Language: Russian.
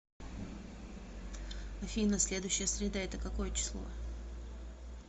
афина следующая среда это какое число